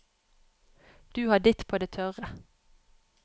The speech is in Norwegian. Du har ditt på det tørre.